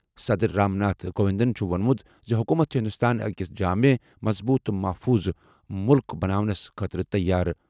صدر رام ناتھ کووِنٛدن چُھ ووٚنمُت زِ حُکوٗمت چھےٚ ہِنٛدوستان اَکھ جامع، مضبوٗط تہٕ محفوٗظ مُلُک بناونس خٲطرٕ تیار۔